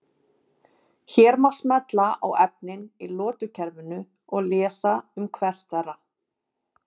Hér má smella á efnin í lotukerfinu og lesa um hvert þeirra.